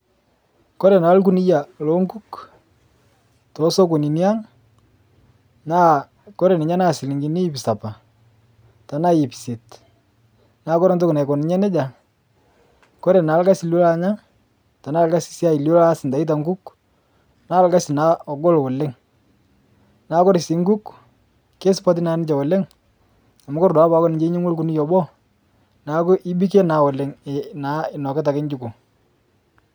Kore naa lkuniya lookuk te sokonini ang' naa kore ninye naa silinkini hip sapa tanaa hip iset naa kore ntoki naiko ninye neja kore naa lgasi lulo anya tanaa lgasi siai lilo anya itaita nkuk naa lgasi naa ogol oleng', naa kore sii nkuuk kesupati naa ninche oleng' amu kore duake paaku ninche inyeng'ua lkuniya obo naaku ibike naa oleng' naa inokita ake chiko.